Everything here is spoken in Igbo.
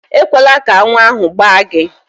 Ekwela ka aṅụ ahụ gbaa gị!